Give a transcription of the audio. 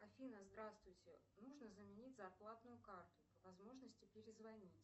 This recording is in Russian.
афина здравствуйте нужно заменить зарплатную карту по возможности перезвонить